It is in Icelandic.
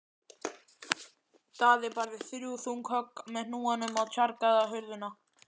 Daði barði þrjú þung högg með hnúanum á tjargaða hurðina.